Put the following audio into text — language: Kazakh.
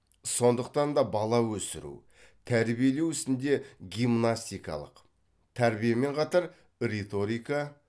сондықтан да бала өсіру тәрбиелеу ісінде гимнастикалық тәрбиемен қатар риторика